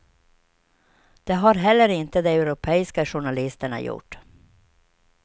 Det har heller inte de europeiska journalisterna gjort.